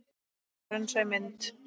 Raunsæ mynd?